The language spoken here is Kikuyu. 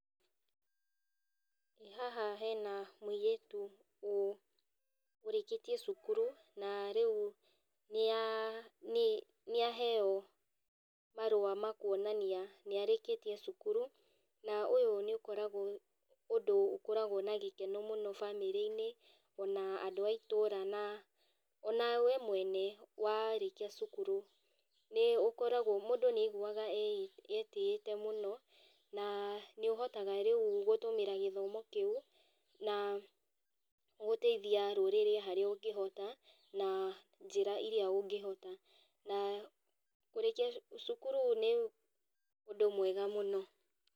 Haha hena mũirĩtu ũ ũrĩkĩtie cukuru, na rĩu nĩa nĩ nĩaheo marũa makuonania nĩarĩkĩtie cukuru, na ũyũ nĩũkoragwo ũndũ ũkoragwo na gĩkeno mũno bamĩrĩinĩ, ona andũ a itũra na ona we mwene warĩkia cukuru, nĩũkoragwo mũndũ nĩaiguaga e etĩĩte mũno, na nĩũhotaga rĩũ gũthomera gĩthomo kĩu, na gũteithia rũrĩrĩ harĩa ũngĩhota, na njĩra iria ũngĩhota na kũrĩkia cukuru nĩ ũndũ mwega mũno